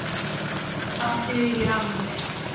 Það dugir alveg.